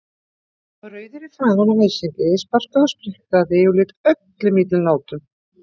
Hann var rauður í framan af æsingi, sparkaði og spriklaði og lét öllum illum látum.